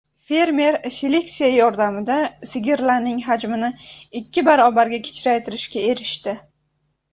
Fermer seleksiya yordamida sigirlarning hajmini ikki barobarga kichraytirishga erishdi.